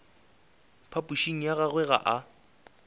phapošing ya gagwe ga a